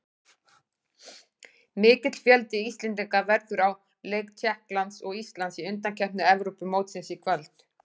Mikill fjöldi Íslendinga verður á leik Tékklands og Íslands í undankeppni Evrópumótsins í kvöld.